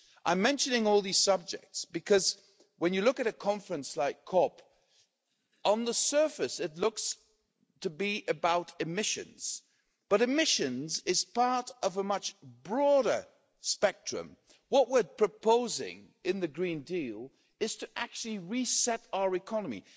I am mentioning all these subjects because, when you look at a conference like COP, on the surface it looks to be about emissions, but emissions are part of a much broader spectrum. What we're proposing in the Green Deal is to actually reset our economy.